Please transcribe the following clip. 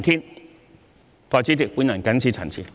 代理主席，我謹此陳辭。